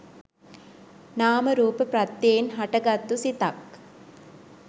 නාම රූප ප්‍රත්‍යයෙන් හටගතත්තු සිතක්